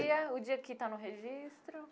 Dia, o dia que está no registro.